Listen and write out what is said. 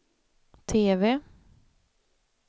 TV